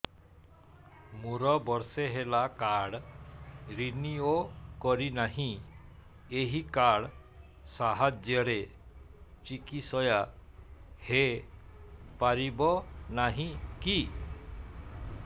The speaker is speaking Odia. ମୋର ବର୍ଷେ ହେଲା କାର୍ଡ ରିନିଓ କରିନାହିଁ ଏହି କାର୍ଡ ସାହାଯ୍ୟରେ ଚିକିସୟା ହୈ ପାରିବନାହିଁ କି